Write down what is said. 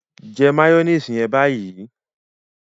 jẹ mayonnaise yẹn ní báyìí!